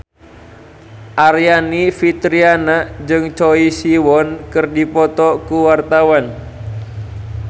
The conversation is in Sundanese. Aryani Fitriana jeung Choi Siwon keur dipoto ku wartawan